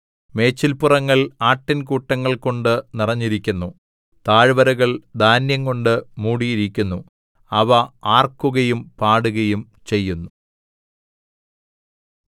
മേച്ചല്പുറങ്ങൾ ആട്ടിൻകൂട്ടങ്ങൾകൊണ്ട് നിറഞ്ഞിരിക്കുന്നു താഴ്വരകൾ ധാന്യംകൊണ്ട് മൂടിയിരിക്കുന്നു അവ ആർക്കുകയും പാടുകയും ചെയ്യുന്നു